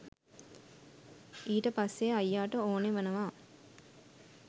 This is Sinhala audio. ඊට පස්සේ අයියාට ඕනෙ වෙනවා